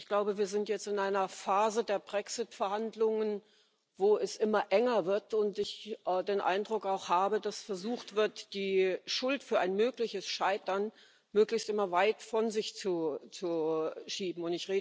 Ich glaube, wir sind jetzt in einer Phase der Brexit Verhandlungen, wo es immer enger wird und wo ich den Eindruck habe, dass versucht wird, die Schuld für ein mögliches Scheitern immer möglichst weit von sich zu schieben.